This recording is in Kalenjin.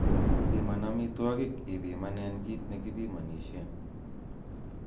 Piman amitwogik ipimanen kit nekipimonisien.